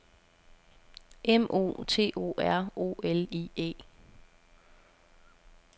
M O T O R O L I E